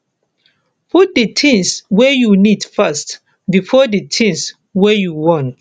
put di things wey you need first before di things wey you want